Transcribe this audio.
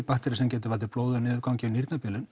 bakteríu sem getur valdið blóði í niðurgangi og